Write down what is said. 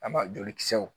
An b'a jolikisɛw